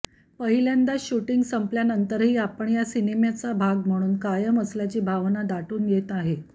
पहिल्यांदाच शुटिंग संपवल्यानंतरही आपण या सिनेमाचा भाग म्हणून कायम असल्याची भावना दाटून येते आहे